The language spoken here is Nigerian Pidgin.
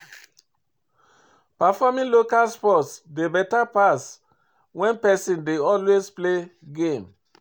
Perfroming local sports dey better pass when person dey always play game